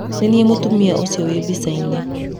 Niĩ nĩniĩ mũtumia ũcio wĩ mbicainĩ.